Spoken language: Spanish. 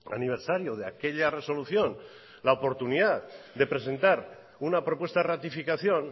aniversario de aquella resolución la oportunidad de presentar una propuesta ratificación